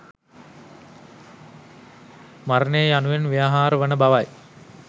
මරණය යනුවෙන් ව්‍යවහාර වන බවයි.